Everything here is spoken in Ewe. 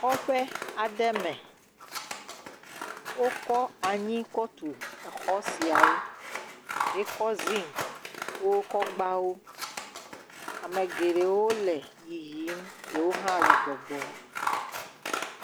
Kɔƒe aɖe me wokɔ anyi kɔ tu exɔ siawo hekɔ zigliwo hekɔ gba wo. Ame geɖewo le yiyim ɖewo hã le gbɔgbɔm.